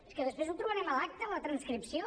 és que després ho trobarem a l’acta a la transcripció